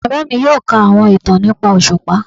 Bàbá mí yóò kà àwọn ìtàn nìpa oṣupá